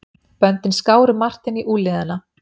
Böndin skáru Martein í úlnliðina.